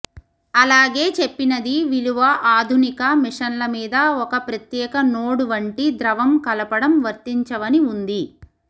అలాగే చెప్పినది విలువ ఆధునిక మిషన్ల మీద ఒక ప్రత్యేక నోడ్ వంటి ద్రవం కలపడం వర్తించవని ఉంది